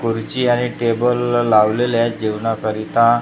खुर्ची आणि टेबल लावलेले आहेत जेवणाकरिता--